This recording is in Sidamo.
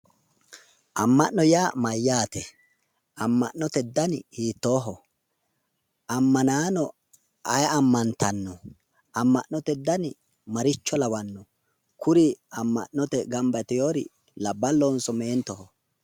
Amma'no yaa mayyaate? Amma'note dani hiittooho? Ammanaano ayee ammantanno? Amma'note dani maricho lawanno? Kuri amma'note gamba yitiwori labballohonso meentoho?